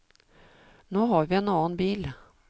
Nå har vi en annen bil.